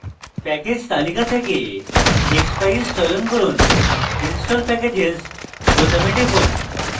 package তালিকা থেকে expeyes চয়ন from install packages বোতামে টিপুন